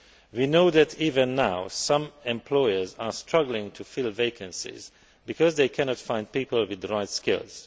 We know that even now, some employers are struggling to fill vacancies because they cannot find people with the right skills.